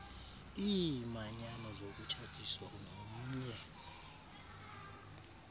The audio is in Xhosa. iimanyano zokutshatiswa nomnye